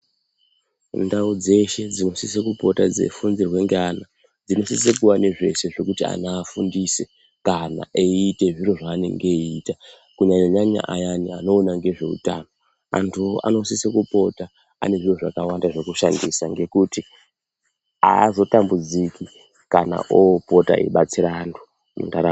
Mundau dzeshe dzinosisa kupota dzeifundirwa neana dzinosisa kuva nezveshe zvekuti ana afundise kana eita zviro zvanenge eita kunyanyanyanya ayani anoona nezvehutano antu anosisa kupota ane zviro zvakawanda zvekushandisa ngekuti azotambudziki kana opota eibatsira antu mundaraunda.